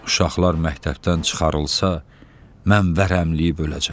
Uşaqlar məktəbdən çıxarılsa, mən vərəmləyib öləcəm.